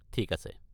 ঠিক আছে।